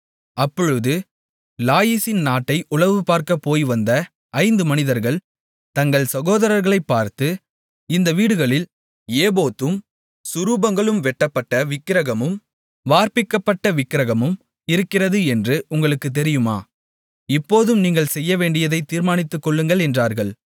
அப்பொழுது லாயீசின் நாட்டை உளவுபார்க்கப் போய்வந்த ஐந்து மனிதர்கள் தங்கள் சகோதரர்களைப் பார்த்து இந்த வீடுகளில் ஏபோத்தும் சுரூபங்களும் வெட்டப்பட்ட விக்கிரகமும் வார்ப்பிக்கப்பட்ட விக்கிரகமும் இருக்கிறது என்று உங்களுக்குத் தெரியுமா இப்போதும் நீங்கள் செய்யவேண்டியதைத் தீர்மானித்துக் கொள்ளுங்கள் என்றார்கள்